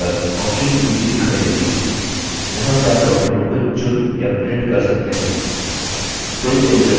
screen पर options की सूची दिखाई देती है जहाँ से आप document को चुन या print कर सकते हैं